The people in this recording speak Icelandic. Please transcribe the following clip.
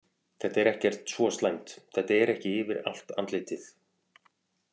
Þetta er ekkert svo slæmt, þetta er ekki yfir allt andlitið.